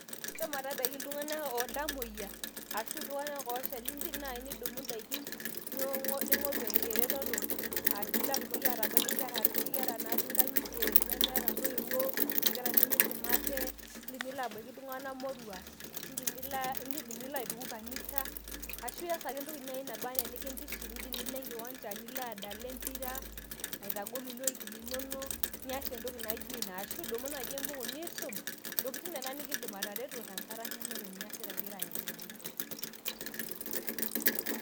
shomo tabaiki iltamoyia ashu iltung`ana ooshali indim naaji nidumu indaikin ning`oru eretoto pilo atumoki atabaiki inkera noshi natii nkang`itie nemeeta intoiwuo nkera nemidim ate, indim nilo abaiki iltung`anak moruak nindim nilo aituku kanisa ashu ias ake entoki naba enaa enikintiship indim nilo enkiwanja nilo adala empira nilo aitagol iloik linonok nias entoki naijo ina ashu idumu naaji embuku niisum ntokitin nena nikiindim atareto tenkata nemeeta eniasita ingira ayeng`iyeng`a.